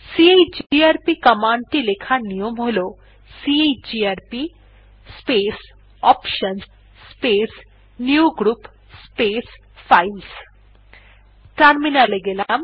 chgrp command টি লেখার নিয়ম হল chgrp space options space new group space files terminal এ গেলাম